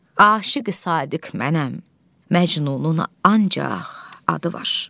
Aşiqi Sadiq mənəm, Məcnunun ancaq adı var.